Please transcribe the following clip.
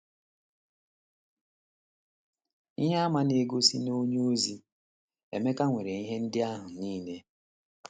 Ihe àmà na - egosi na onyeozi Emeka nwere ihe ndị ahụ nile.